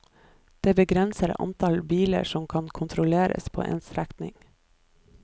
Dette begrenser antall biler som kan kontrolleres på en strekning.